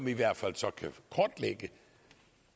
i hvert fald kan kortlægge